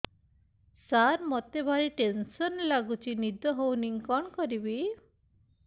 ସାର ମତେ ଭାରି ଟେନ୍ସନ୍ ଲାଗୁଚି ନିଦ ହଉନି କଣ କରିବି